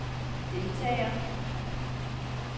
deltager